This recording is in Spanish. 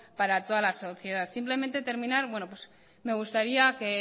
para toda la sociedad simplemente terminar me gustaría que